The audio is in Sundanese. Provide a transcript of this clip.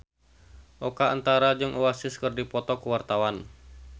Oka Antara jeung Oasis keur dipoto ku wartawan